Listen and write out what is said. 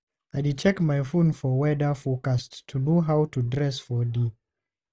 I dey check my phone for weather forecast to know how to dress for day.